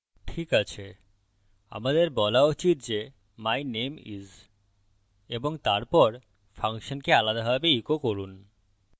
ঠিকআছে আমাদের বলা উচিত যে my name is এবং তারপর ফাংশনকে আলাদাভাবে echo করুন